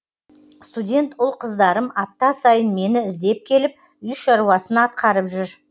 студент ұл қыздарым апта сайын мені іздеп келіп үй шаруасын атқарып жүр